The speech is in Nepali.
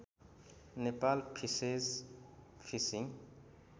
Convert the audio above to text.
Nepal fishes fishing